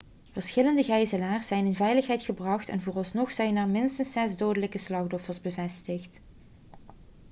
verschillende gijzelaars zijn in veiligheid gebracht en vooralsnog zijn er minstens zes dodelijke slachtoffers bevestigd